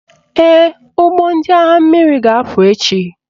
Ee, ụgbọ ndị agha mmiri ga-apụ echi